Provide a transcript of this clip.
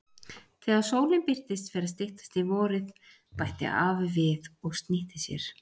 Þegar sólin birtist fer að styttast í vorið bætti afi við og snýtti sér.